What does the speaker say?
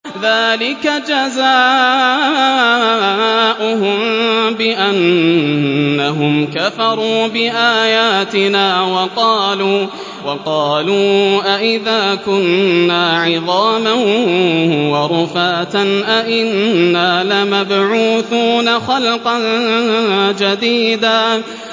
ذَٰلِكَ جَزَاؤُهُم بِأَنَّهُمْ كَفَرُوا بِآيَاتِنَا وَقَالُوا أَإِذَا كُنَّا عِظَامًا وَرُفَاتًا أَإِنَّا لَمَبْعُوثُونَ خَلْقًا جَدِيدًا